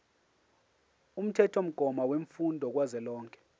umthethomgomo wemfundo kazwelonke